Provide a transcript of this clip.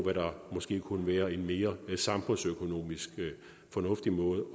hvad der måske kunne være en mere samfundsøkonomisk fornuftig måde